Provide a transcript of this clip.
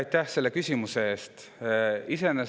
Aitäh selle küsimuse eest!